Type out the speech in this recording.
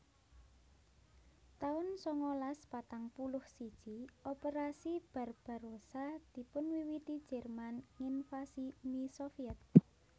taun sangalas patang puluh siji Operasi Barbarossa dipunwiwiti Jerman nginvasi Uni Soviet